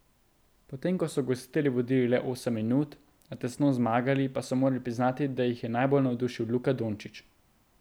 Potem ko so gostitelji vodili le osem minut, a tesno zmagali, pa so morali priznati, da jih je najbolj navdušil Luka Dončić.